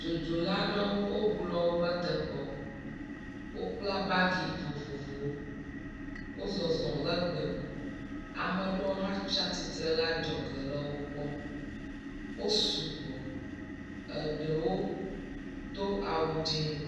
Dzodzola aɖewo woŋu le woƒe teƒewo. Wokpla bagi vovovowo. Wo zɔzɔm le gbe me. Ame aɖewo hã tsi atsitre ɖe adzɔge le wo kpɔm. Wosu gbɔ eɖewo do awu dzi.